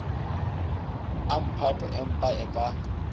a mphato empa e ka